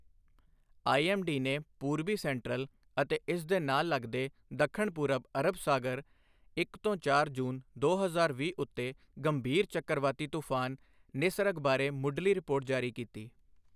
IMD ਨੇ ਪੂਰਬੀ central ਅਤੇ ਇਸ ਦੇ ਨਾਲ ਲਗਦੇ ਦੱਖਣ ਪੂਰਬ ਅਰਬ ਸਾਗਰ ਇੱਕ ਤੋਂ ਚਾਰ ਜੂਨ, ਦੋ ਹਜ਼ਾਰ ਵੀਹ ਉੱਤੇ ਗੰਭੀਰ ਚੱਕਰਵਾਤੀ ਤੂਫਾਨ ਨਿਸਰਗ ਬਾਰੇ ਮੁੱਢਲੀ ਰਿਪੋਰਟ ਜਾਰੀ ਕੀਤੀ।